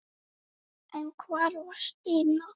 En hvar var Stína?